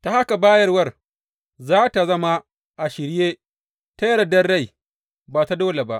Ta haka bayarwar za tă zama a shirye, ta yardar rai ba ta dole ba.